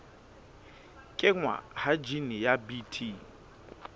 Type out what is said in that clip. kenngwa ha jine ya bt